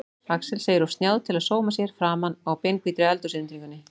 Axel segir of snjáð til að sóma sér framan á beinhvítri eldhúsinnréttingunni.